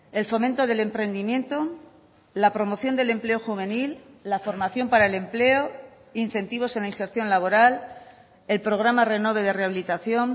el fomento del emprendimiento la promoción del empleo juvenil la formación para el empleo incentivos en la inserción laboral el programa renove de rehabilitación